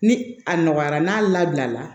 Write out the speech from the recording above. Ni a nɔgɔyara n'a labila la